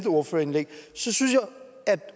ordførerindlæg så synes jeg at